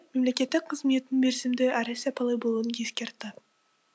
мемлекеттік қызметтің мерзімді әрі сапалы болуын ескертті